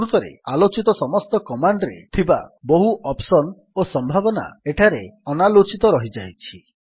ପ୍ରକୃତରେ ଆଲୋଚିତ ସମସ୍ତ କମାଣ୍ଡ୍ ରେ ଥିବା ବହୁ ଅପ୍ସନ୍ ଓ ସମ୍ଭାବନା ଏଠାରେ ଅନାଲୋଚନା ରହିଯାଇଛି